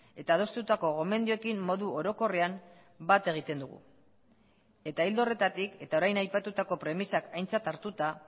eta adostutako gomendioekin modu orokorrean bat egiten dugu eta ildo horretatik eta orain aipatutako premisak aintzat hartuta